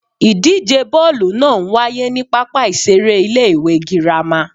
Ìdíje bọ́ọ̀lù naa n waye ni pápá ìseré Ilé ìwé Girama